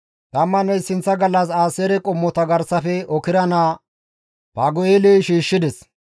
Tammanne issinththa gallas Aaseere qommota garsafe Okra naa Fagu7eeley shiishshides.